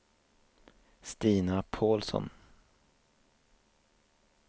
Stina Paulsson